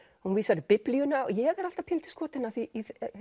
hún vísar í Biblíuna og ég er alltaf pínulítið skotin í